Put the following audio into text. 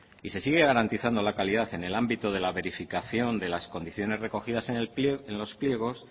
y se sigue garantizando la calidad en el ámbito de la verificación de las condiciones recogidas en los pliegos